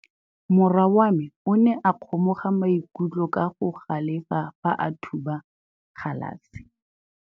Morwa wa me o ne a kgomoga maikutlo ka go galefa fa a thuba galase.